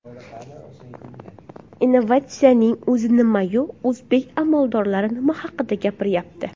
Innovatsiyaning o‘zi nima-yu, o‘zbek amaldorlari nima haqda gapiryapti?